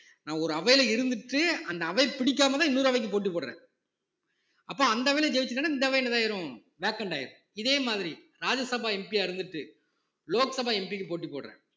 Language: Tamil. நான் ஒரு அவையில இருந்துட்டு அந்த அவை பிடிக்காமல்தான் இன்னொரு அவைக்கு போட்டி போடுறேன் அப்ப அந்த அவைல ஜெயிச்சுட்டான்னா இந்த அவைல vacant ஆயிரும் இதே மாதிரி ராஜ்யசபா MP யா இருந்துட்டு லோக்சபா MP க்கு போட்டி போடுறேன்